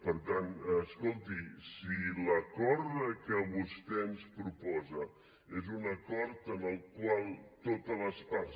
per tant escolti si l’acord que vostè ens proposa és un acord en el qual totes les parts